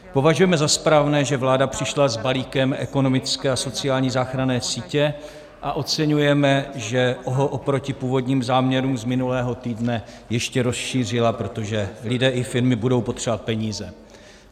Považujeme za správné, že vláda přišla s balíkem ekonomické a sociální záchranné sítě, a oceňujeme, že ho oproti původním záměrům z minulého týdne ještě rozšířila, protože lidé i firmy budou potřebovat peníze.